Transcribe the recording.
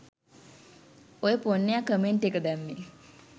ඔය පොන්නයා කමෙන්ට් එක දැම්මේ